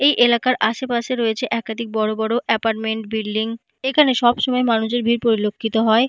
এই এলাকার আশেপাশে রয়েছে একাধিক বড় বড় এপারমেন্ট বিল্ডিং এখানে সবসময় মানুষের ভিড় পরিলক্ষিত হয়।